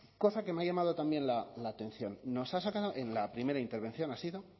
cosa que me ha llamado también la atención nos ha sacado en la primera intervención ha sido